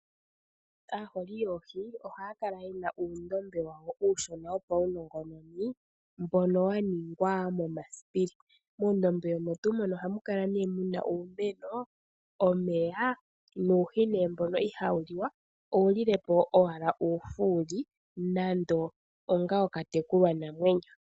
Aaholi yoohi ohaya kala ye na uundombe wawo uushona wopaunongononi mboka wa ningwa momasipili . Muundombe omo tuu mono ohamu kala nee mu na uumeno, omeya nuuhi nee mbono ihawu li wa owu lile po owala uufuli nando ongawo okatekulwanamwenyo .